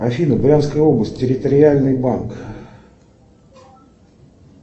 афина брянская область территориальный банк